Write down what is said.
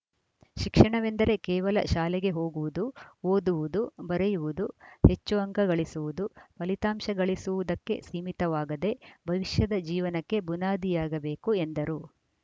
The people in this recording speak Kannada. ಶಿಕ್ಷಣವೆಂದರೆ ಕೇವಲ ಶಾಲೆಗೆ ಹೋಗುವುದು ಓದುವುದು ಬರೆಯುವುದು ಹೆಚ್ಚು ಅಂಕ ಗಳಿಸುವುದು ಫಲಿತಾಂಶ ಗಳಿಸುವುದಕ್ಕೆ ಸೀಮಿತವಾಗದೇ ಭವಿಷ್ಯದ ಜೀವನಕ್ಕೆ ಬುನಾದಿಯಾಗಬೇಕು ಎಂದರು